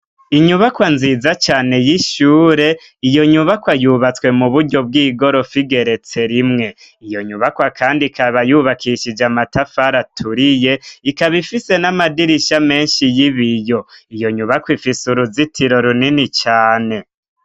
Inyubakwa nziza cane y'ishure iyo nyubakwa yubatswe mu buryo bw'igorofu igeretse rimwe, iyo nyubakwa kandi ikaba yubakishije amatafari aturiye ikaba ifise n'amadirisha menshi y'ibiyo iyo nyubakwa ifise uruzitiro runini cane.